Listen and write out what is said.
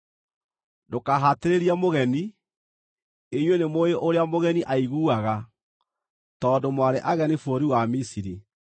“Ndũkahatĩrĩrie mũgeni; inyuĩ nĩmũũĩ ũrĩa mũgeni aiguaga, tondũ mwarĩ ageni bũrũri wa Misiri.